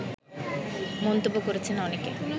মন্তব্য করেছেন অনেকে